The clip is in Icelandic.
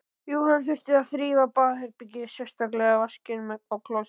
Jú, hann þurfti að þrífa baðherbergið, sérstaklega vaskinn og klósettið.